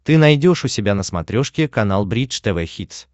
ты найдешь у себя на смотрешке канал бридж тв хитс